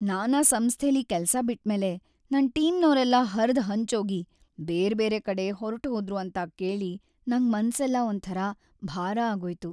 ನಾನ್ ಆ ಸಂಸ್ಥೆಲಿ ಕೆಲ್ಸ ಬಿಟ್ಮೇಲೆ ನನ್ ಟೀಮ್ನೋರೆಲ್ಲ ಹರ್ದ್‌ಹಂಚೋಗಿ ಬೇರ್ಬೇರೆ ಕಡೆ ಹೊರ್ಟ್‌ಹೋದ್ರು ಅಂತ ಕೇಳಿ ನಂಗ್ ಮನ್ಸೆಲ್ಲ ಒಂಥರ ಭಾರ ಆಗೋಯ್ತು.